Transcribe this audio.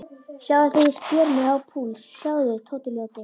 Sjáðu þegar ég sker mig á púls, sjáðu, Tóti ljóti.